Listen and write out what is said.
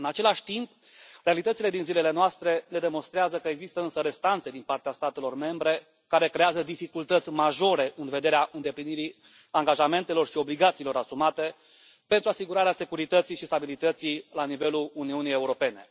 În același timp, realitățile din zilele noastre ne demonstrează că există însă restanțe din partea statelor membre, care creează dificultăți majore în vederea îndeplinirii angajamentelor și obligațiilor asumate pentru asigurarea securității și stabilității la nivelul Uniunii Europene.